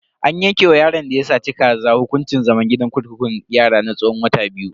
An yanke wa yaron da ya saci kaza hukuncin zaman gidan kurkukun yara na tsawon wata biyu.